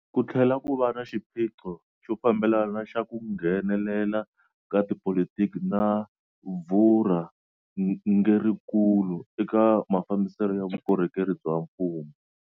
Ku tlhela ku va na xiphiqo xo fambelana xa ku nghenelela ka tipolitiki na vurhangerinkulu eka mafambiselo ya vukorhokeri bya mfumo.